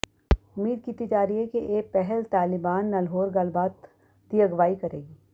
ਉਮੀਦ ਕੀਤੀ ਜਾ ਰਹੀ ਹੈ ਕਿ ਇਹ ਪਹਿਲ ਤਾਲਿਬਾਨ ਨਾਲ ਹੋਰ ਗੱਲਬਾਤ ਦੀ ਅਗਵਾਈ ਕਰੇਗੀ